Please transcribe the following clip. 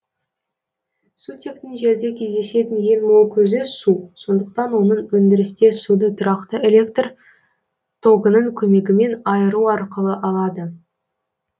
сутектің жерде кездесетін ең мол көзі су сондықтан оны өндірісте суды тұрақты электр тогының көмегімен айыру арқылы алады